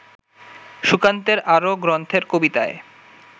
সুকান্তের আরও গ্রন্থের কবিতায়